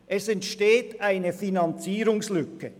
Es entsteht eine Finanzierungslücke.